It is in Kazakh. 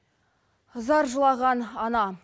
зар жылаған ана